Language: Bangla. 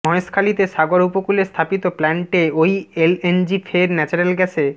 মহেশখালীতে সাগর উপকূলে স্থাপিত প্লান্টে ওই এলএনজি ফের ন্যাচারাল গ্যাসে